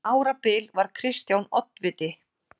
Um árabil var Kristján oddviti.